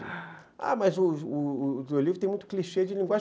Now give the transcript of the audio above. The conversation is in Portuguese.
Ah, mas o o o livro tem muito clichê de linguagem.